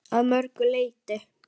Að mörgu leyti.